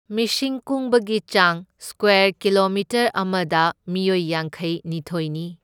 ꯃꯤꯁꯤꯡ ꯀꯨꯡꯕꯒꯤ ꯆꯥꯡ ꯁꯀ꯭ꯋꯦꯔ ꯀꯤꯂꯣꯃꯤꯇꯔ ꯑꯃꯗ ꯃꯤꯑꯣꯏ ꯌꯥꯡꯈꯩꯅꯤꯊꯣꯢꯅꯤ꯫